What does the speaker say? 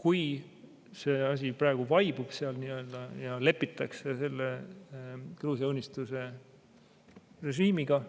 Kui see asi praegu seal nii-öelda vaibub ja lõpuks lepitakse selle Gruusia Unistuse režiimiga